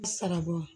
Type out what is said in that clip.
Sarabɔn